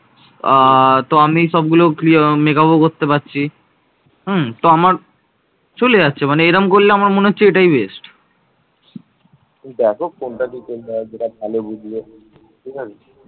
আহ তো আমি সবগুলো free এবং makeup ও করতে পারছি উম তো আমার চলে যাচ্ছে মানে এরম করলে আমার মনে হচ্ছে এইটাই best